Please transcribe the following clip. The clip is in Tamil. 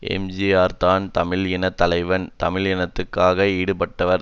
எம்ஜிஆர் தான் தமிழ் இன தலைவன் தமிழ் இனத்துக்காக பாடுபட்டவர்